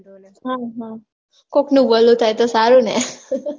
હા હા કોકનું ભલું થાય તો સારું ને